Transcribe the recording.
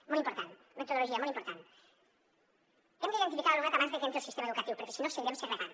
molt important metodologia molt important hem d’identificar l’alumnat abans de que entri al sistema educatiu perquè si no seguirem segregant